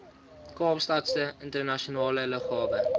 kaapstadse internasionale lughawe